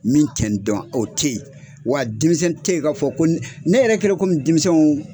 Min tɛ n dɔn o te ye wa denmisɛnnin te ye ka fɔ ko n ne yɛrɛ kɛlɛ kɔmi denmisɛnw